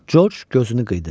Corc gözünü qıydı.